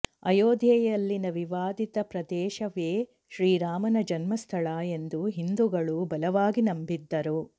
ಅಯೋಧ್ಯೆಯಲ್ಲಿನ ವಿವಾದಿತ ಪ್ರದೇಶವೇ ಶ್ರೀರಾಮನ ಜನ್ಮಸ್ಥಳ ಎಂದು ಹಿಂದೂಗಳು ಬಲವಾಗಿ ನಂಬಿದ್ದರು